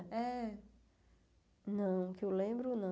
É. Não, que eu lembro, não.